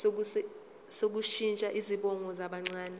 sokushintsha izibongo zabancane